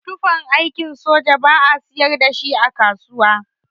Tufan aikin soja ba'a siyar dashi a kasuwa.